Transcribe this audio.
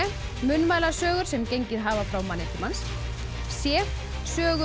munnmælasögur sem gengið hafa frá manni til manns c sögur